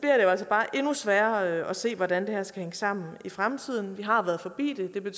altså bare endnu sværere at se hvordan det her skal hænge sammen i fremtiden vi har været forbi det det kan